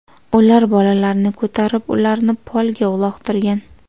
Ular bolalarni ko‘tarib, ularni polga uloqtirgan.